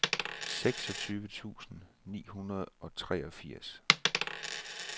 seksogtyve tusind ni hundrede og treogfirs